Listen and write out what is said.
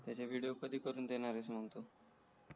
त्याचे विडिओ कधी करून देणार आहेस मग तू